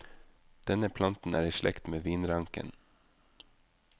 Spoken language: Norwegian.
Denne planten er i slekt med vinranken.